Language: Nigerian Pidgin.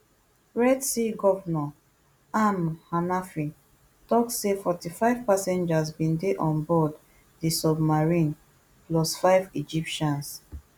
red sea govnor amr hanafy tok say forty-five passengers bin dey on board di submarine plus five egyptians